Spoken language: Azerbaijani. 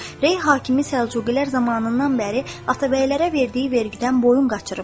Rey hakimi Səlcuqilər zamanından bəri Atabəylərə verdiyi vergidən boyun qaçırıbdır.